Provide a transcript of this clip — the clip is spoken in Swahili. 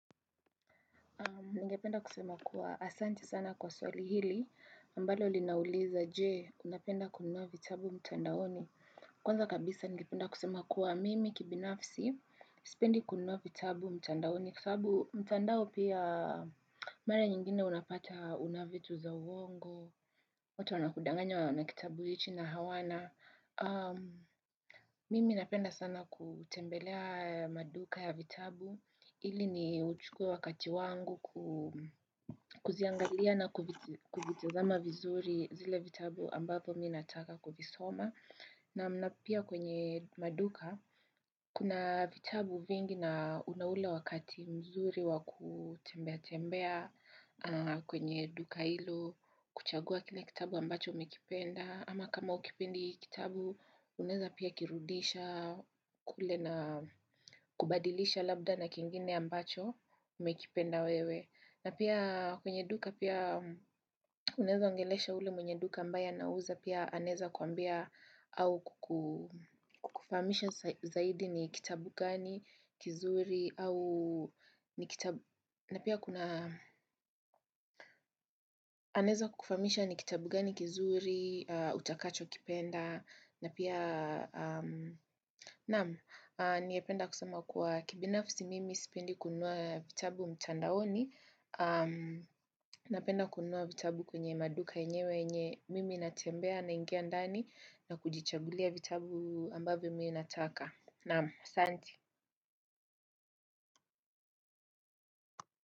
Ningependa kusema kuwa asante sana kwa swali hili ambalo linauliza, je, unapenda kununua vitabu mtandaoni? Kwanza kabisa ningependa kusema kuwa mimi kibinafsi, sipendi kununua vitabu mtandaoni. Kwa sababu mtandao pia mara nyingine unapata una vitu za uongo, watu wanakudanganya wana kitabu hiki na hawana. Mimi napenda sana kutembelea maduka ya vitabu. Ili niuchuke wakati wangu kuziangalia na kuvitazama vizuri zile vitabu ambavyo mimi nataka kuvisoma. Naam na pia kwenye maduka, kuna vitabu vingi na una ule wakati mzuri wa kutembea tembea kwenye duka hilo, kuchagua kile kitabu ambacho umekipenda. Ama kama hukipendi hiki kitabu, unaeza pia kirudisha kule na kubadilisha labda na kingine ambacho umekipenda wewe. Na pia kwenye duka pia unaeza ongelesha ule mwenye duka ambaye anauza pia anaeza kuambia au kukufahamisha zaidi ni kitabu gani, kizuri, au ni kitabu, na pia kuna anaeza kukufahamisha ni kitabu gani, kizuri, utakachokipenda na pia, naam, ningependa kusema kuwa kibinafsi mimi sipendi kununua vitabu mtandaoni Napenda kununua vitabu kwenye maduka yenyewe yenye mimi natembea naingia ndani na kujichagulia vitabu ambavyo mimi nataka Naam, asante.